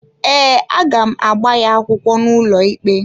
Ee, a ga m agba ya akwụkwọ n’ụlọikpe.